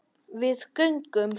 Við göngum